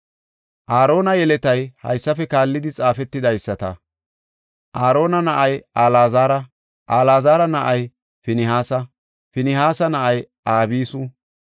Aarona yeletay haysafe kaallidi xaafetidaysata. Aarona na7ay Alaazara; Alaazara na7ay Pinihaasa; Pinihaasa na7ay Abisu;